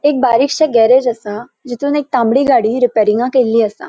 एक बरिकशे गॅरेज असा तितुन एक तांबड़ी गाड़ी रिपेरिंगाक येयल्ली असा.